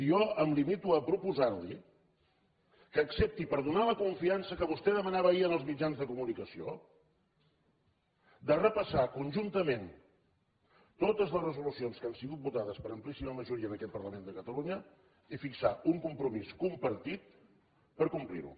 jo em limito a proposar li que accepti per donar la confiança que vostè demanava ahir en els mitjans de comunicació de repassar conjuntament totes les resolucions que han sigut votades per amplíssima majoria en aquest parlament de catalunya i fixar un compromís compartit per complir les